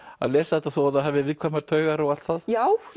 að lesa þetta þó það hafi viðkvæmar taugar og allt það já